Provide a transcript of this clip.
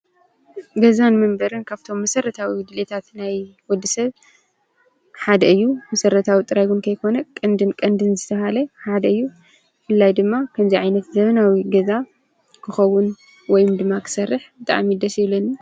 ገዛን መንበሪን ካብቶም መሰረታዊ ድልየታት ናይ ወዲ ሰብ ሓደ እዩ፡፡ መሰረታዊ ጥራይ እዉን ከይኮነስ ቀንድን ቀንድን ዝተባህለ ሓደ እዩ፡ ፡ ብፍላይ ድማ ከምዚ ዓይነት ዘበናዊ ገዛ ክኸዉን ወይ ድማ ክሰርሕ ብጣዕሚ ደስ ይብለኒ፡፡